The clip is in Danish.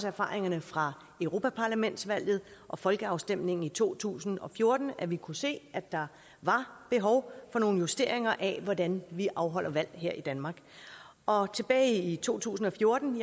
erfaringerne fra europaparlamentsvalget og folkeafstemningen i to tusind og fjorten at vi kunne se at der var behov for nogle justeringer af hvordan vi afholder valg her i danmark og tilbage i to tusind og fjorten